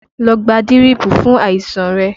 Lọ gba dírípù fún àìsàn rẹ!